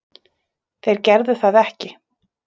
Þeir gerðu það ekki